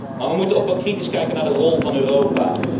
Maar wij moeten ook wel kritisch kijken naar de rol van Europa.